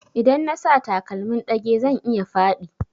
Idan na sa takalmin ɗage zan iya faɗi